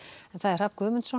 Hrafn Guðmundsson